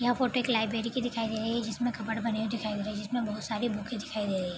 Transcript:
यह फोटो एक लाइब्रेरी की दिखाई दे रही हैं जिसमें कबर्ड बने हुए दिखाई दे रहे हैं जिसमें बहोत सारी बूकें दिखाई दे रही --